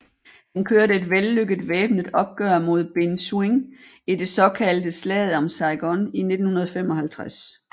Han kørte et vellykket væbnet opgør med Binh Xuyen i det såkaldte slaget om Saigon i 1955